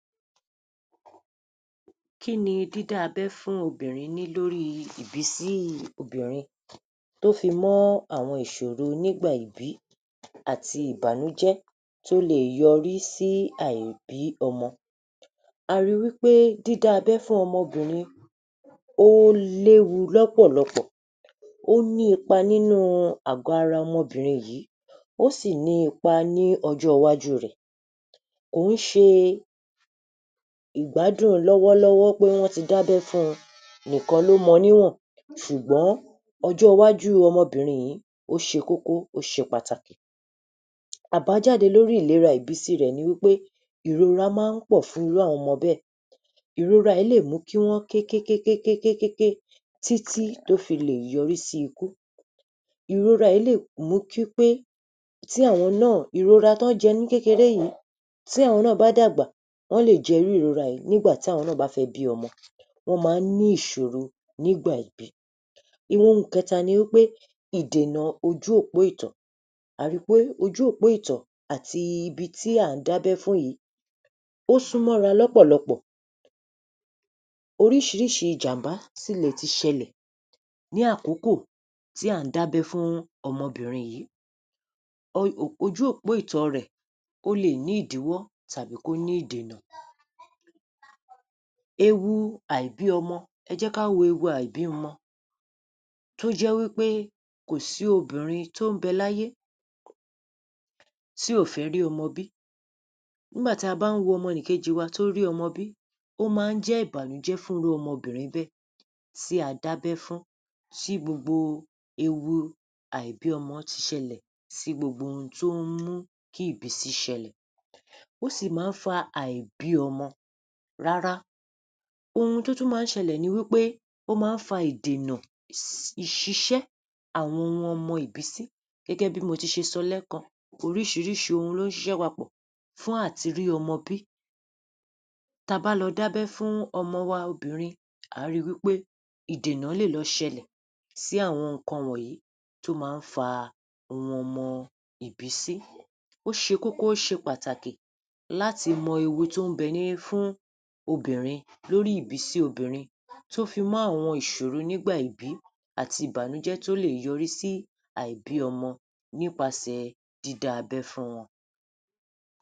Kí ni dídá abẹ́ fún obìnrin ní lórí i ìbísí i obìnrin tó fi mọ́ àwọn ìṣòro nígbà ìbí àti ìbànújẹ́ tí ó le è yọrí sí àìní ọmọ. A ri wí pé dídá abẹ fún ọmọbìnrin ó léwu lọ́pọ̀lọpọ̀ ó ní ipa nínú u àgó ara ọmọbìnrin yìí ó sì ní ipa ní ọjọ́ iwájú rẹ̀. Kò ń ṣe ìgbádún lọ́wọ́ lọ́wọ́ pé wọ́n ti dábẹ́ fún un nìkan ló mọ̀ níwọ̀n ṣùgbọ́n ọjọ́ iwájú u ọmọbìnrin yìí ó ṣe kókó, ó ṣe pàtàkì. Àbájáde lórí ìlera ibísi rẹ̀ ni wí pé ìrora ma ń pọ̀ fún irú àwọn ọmọ bẹ́ẹ̀. Ìrora yìí lè mú kí wọ́n ké ké ké ké ké ké títí tó fi lè yọrí sí ikú. Ìrora yìí lè mú kí pé tí àwọn náà ìrora tí wọ́n jẹ ní kékeré yìí tí àwọn náà bá dàgbà wọ́n lè je irú ìrora yìí nígbà tí àwọn ná bá fẹ́ bí ọmọ. Wọ́n ma ń ní ìṣòro nígbà ìbí. Ohun kẹta ni wí pé ìdènà ojú òpó ìtò, a ri pé ojú òpó ìtò àti ibi tí à ń dábẹ́ fún yìí ó súnmọ́ra lọ́pọ̀lọpọ̀ oríṣiríṣi ìjàm̀bá sì le ti ṣẹlẹ̀ ní àkókò tí à ba ń dábẹ́ fún ọmọbìnrin yìí. Ojú òpó ìtọ rẹ̀ le è ní ìdíwọ́ tàbí kó ní ìdènà. Ewu àìbí ọmọ ẹ jẹ́ ká wo ewu àìbímọ tó jẹ́ wí pé kò sí obìnrinrin tó ń bẹ láyé tí ò fẹ́ rí ọmọ bí nígbà tí a bá ń wo ọmọ’nìkejì wa tó bá rí ọmọ bí ó ma ń jẹ́ ìbànújẹ́ fún irú ọmọbìnrin bẹ́ẹ̀ tí a dábẹ́ fún tí gbogbo ewu àìbímọ ti ṣẹlẹ̀ sí gbogbo ohun tó ń mú kí ìbísi ṣẹlẹ̀ ó sì ma ń fa àìbí ọmọ rárá ohun tó tún ma ń ṣẹlẹ̀ ni wí pé ó ma ń fa ìdènà ìṣiṣẹ́ àwọn ohun ọmọ ìbísí gẹ́gẹ́ bí mo ti ṣe sọ lẹ́kan oríṣiríṣi ohun ló ń ṣiṣẹ́ papọ̀ fún àti rí ọmọ bí. Ta bá lọ dábẹ́ fún ọmọ wa obìnrin à á ri wí pé ìdènà lè lọ ṣẹlẹ̀ sí àwọn ǹkan wọ̀nyí tó ma ń fa ohun ọmọ ìbísí. Ó ṣe kókó ó ṣe pàtàkì láti mọ ewu tó ń bẹ ní fún obìnrin lórí ìbísí obinrin tó fi mọ́ àwọn ìṣòro nígbà ìbí àti ìbànújẹ́ tó lè yọrí sí àìbí ọmọ nípasẹ̀ dídá abẹ́ fún wọn.